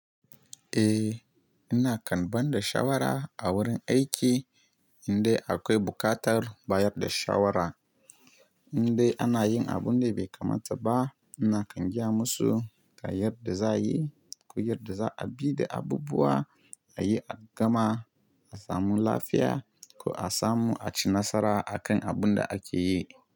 Eh, ina kan ba da shawara a wurin aiki idan akwai buƙatar bayar da shawara. Idan ana yin abun da bai kamata ba, ina kan gaya musu ta yadda za a yi ko yadda za a bi da abubuwa a yi a gama, a samu lafiya ko a samu a ci nasara a kan abun da ake yi.